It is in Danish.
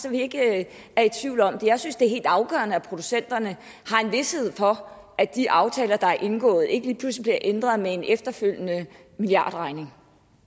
at vi ikke er i tvivl om det jeg synes det er helt afgørende at producenterne har en vished for at de aftaler der er indgået ikke lige pludselig bliver ændret med en efterfølgende milliardregning